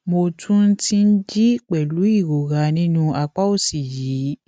mo tún ti ń jí pẹlú ìrora nínú àpá òsì yìí